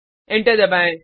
enter दबाएँ